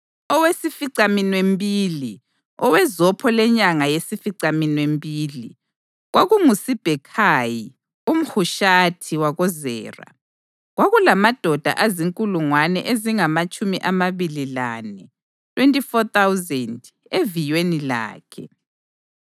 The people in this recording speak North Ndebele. Owesificaminwembili, owezopho lenyanga yesificaminwembili, kwakunguSibhekhayi umHushathi wakoZera. Kwakulamadoda azinkulungwane ezingamatshumi amabili lane (24,000) eviyweni lakhe.